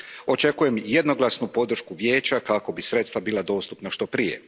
Očekujem jednoglasnu podršku Vijeća kako bi sredstva bila dostupna što prije.